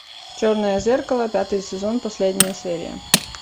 черное зеркало пятый сезон последняя серия